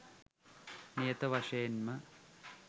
නියත වශයෙන්ම